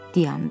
Dayandı.